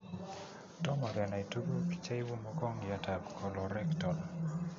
Tomoo kenai tuguuk che inuu mogongiot ab colorectal